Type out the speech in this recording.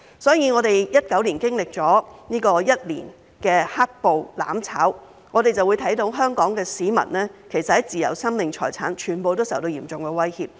所以，我們2019年經歷了一年的"黑暴""攬炒"，便會看到香港市民的自由、生命、財產，全部都受到嚴重威脅。